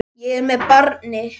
Ég er með barni.